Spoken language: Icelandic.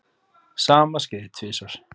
Sama skeði tvisvar.